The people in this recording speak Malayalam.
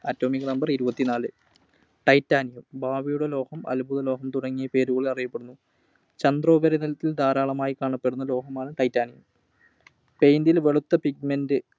Atomic Number ഇരുപത്തിനാല്. Titanium ഭാവിയുടെ ലോഹം. അത്ഭുതലോഹം തുടങ്ങിയ പേരുകളിൽ അറിയപ്പെടുന്നു. ചന്ദ്രോപരിതലത്തിൽ ധാരാളമായി കാണപ്പെടുന്ന ലോഹമാണ് Titanium. Paint ൽ വെളുത്ത pigment